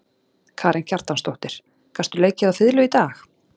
Karen Kjartansdóttir: Gastu leikið á fiðlu í dag?